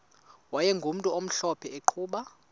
wayegumntu omhlophe eqhuba